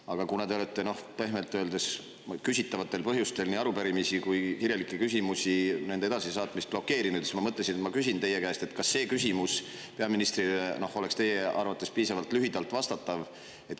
Aga kuna te olete pehmelt öeldes küsitavatel põhjustel nii arupärimisi kui kirjalikke küsimusi, nende edasisaatmist blokeerinud, siis ma mõtlesin, et ma küsin teie käest, kas see küsimus peaministrile oleks teie arvates piisavalt lühidalt vastatav.